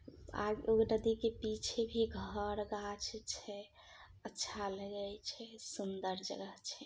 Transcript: और एगो नदी के पीछे भी घर गाछी छे अच्छा लगई छे सुंदर जगह छे।